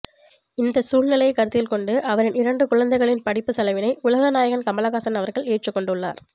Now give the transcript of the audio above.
இந்த சூழ்நிலையை கருத்தில்கொண்டு அவரின் இரண்டு குழந்தைகளின் படிப்பு செலவினை உலகநாயகன் கமல்ஹாசன் அவர்கள் ஏற்றுக்கொண்டுள்ளார்